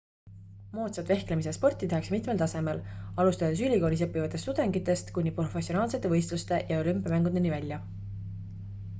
moodsat vehklemise sporti tehakse mitmel tasemel alustades ülikoolis õppivatest tudengitest kuni professionaalsete võistluste ja olümpiamängudeni välja